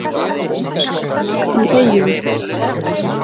Öskufjúk í Eyjum